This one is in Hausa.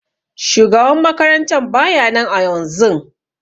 Shugaban makarantan baya nan ayaunzun.